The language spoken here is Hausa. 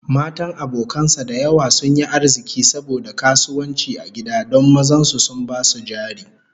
Matan abokan sa da yawa sun yi arziki saboda kasuwanci a gida don mazan su sun ba su jari